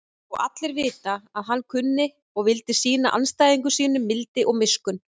Og allir vita að hann kunni og vildi sýna andstæðingum sínum mildi og miskunn.